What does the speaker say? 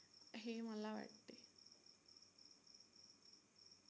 हे मला वाटते.